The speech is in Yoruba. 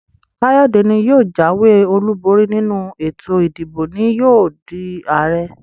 Kayode ní yóò jàwé olú bori nínú ètò ìdìbò ní yóò dii Ààrẹ.